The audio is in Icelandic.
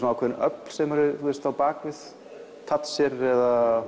ákveðin öfl sem eru á bak við Thatcher eða